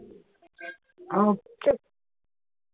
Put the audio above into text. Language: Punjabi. okay